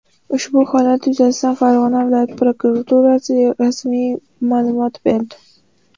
Ushbu holat yuzasidan Farg‘ona viloyat prokuraturasi rasmiy ma’lumot berdi.